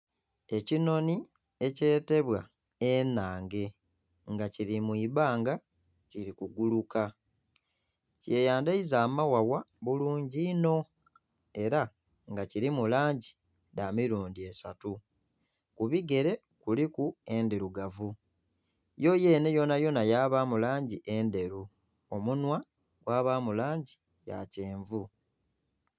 Ekinhonhi ekyetebwa enhange nga kili mu ibbanga kili kuguluka. Kiyandhaiza amaghagha bulungi inho era nga kilimu langi dha milundhi esatu. Ku bigere kuliku endhirugavu, ye yenhe yonayona yabaamu langi endheru, omunhwa gwabaamu langi ya kyenvu.